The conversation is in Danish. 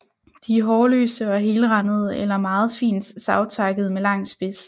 De er hårløse og helrandede eller meget fint savtakkede med lang spids